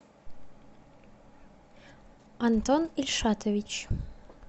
антон ильшатович